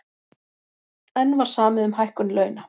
Eins var samið um hækkun launa